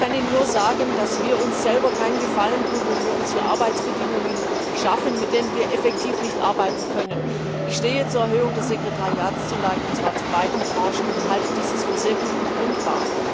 Ich kann Ihnen nur sagen, dass wir uns selber keinen Gefallen tun, wenn wir uns hier Arbeitsbedingungen schaffen, unter denen wir effektiv nicht arbeiten können. Ich stehe zur Erhöhung der Sekretariatszulage, und zwar zu beiden Tranchen, und halte dies für sehr gut begründbar.